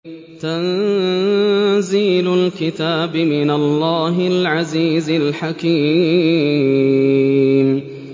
تَنزِيلُ الْكِتَابِ مِنَ اللَّهِ الْعَزِيزِ الْحَكِيمِ